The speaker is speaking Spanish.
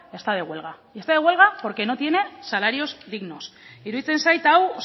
está de huelga y está de huelga porque no tiene salarios dignos iruditzen zait hau